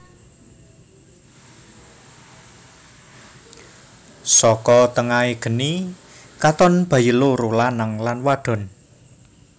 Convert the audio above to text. Saka tengahé geni katon bayi loro lanang lan wadon